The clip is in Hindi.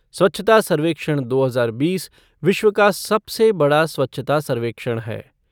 स्वच्छता सर्वेक्षण दो हजार बीस विश्व का सबसे बड़ा स्वच्छता सर्वेक्षण है।